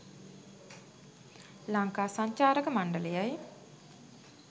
ලංකා සංචාරක මණ්ඩලයයි